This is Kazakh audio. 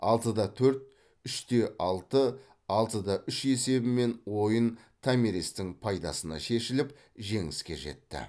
алты да төрт үш те алты алты да үш есебімен ойын томиристің пайдасына шешіліп жеңіске жетті